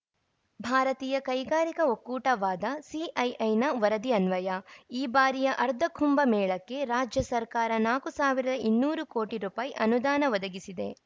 ಭಾರತೀಯ ಕೈಗಾರಿಕಾ ಒಕ್ಕೂಟವಾದ ಸಿಐಐನ ವರದಿ ಅನ್ವಯ ಈ ಬಾರಿಯ ಅರ್ಧಕುಂಭ ಮೇಳಕ್ಕೆ ರಾಜ್ಯ ಸರ್ಕಾರ ನಾಕು ಸಾವಿರ ಇನ್ನೂರು ಕೋಟಿ ರು ಅನುದಾನ ಒದಗಿಸಿದೆ